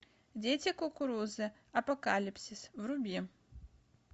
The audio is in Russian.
дети кукурузы апокалипсис вруби